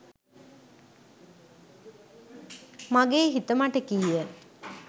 මගේ හිත මට කීය.